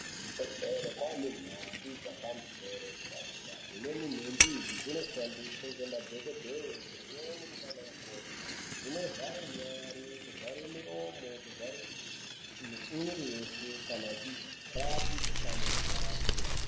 Kuzvibhedhlera kwaane nhumbi dzepamusoro deradera, dzimweni nhumbi idzi dzinoshandiswa ngama dhokodheya, dzimweni ndiana mukoti dzinovhare nyari, kuvare muromo, kuvare mwiri weshe kana echirape mukhuhlani unopararira.